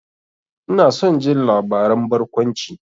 Ina son jin labaran barkwanci.